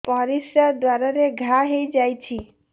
ପରିଶ୍ରା ଦ୍ୱାର ରେ ଘା ହେଇଯାଇଛି